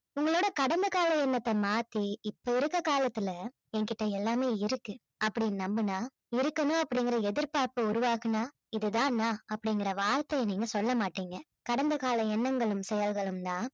உங்களோட கடந்த கால எண்ணத்தை மாத்தி இப்ப இருக்க காலத்துல என்கிட்ட எல்லாமே இருக்கு அப்படின்னு நம்புனா இருக்கணும் அப்படிங்கிற எதிர்பார்ப்ப உருவாக்கினா இது தான் நான் அப்படிங்கிற வார்த்தைய நீங்க சொல்ல மாட்டீங்க கடந்த கால எண்ணங்களும் செயல்களும் தான்